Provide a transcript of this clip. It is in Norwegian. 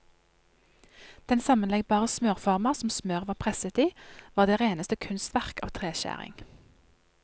Den sammenleggbare smørforma som smøret var presset i, var det reneste kunstverk av treskjæring.